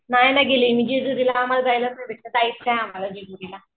नाही ना गेली जेजुरीला जायचं आहे आम्हाला जेजुरीला